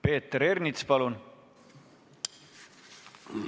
Peeter Ernits, palun!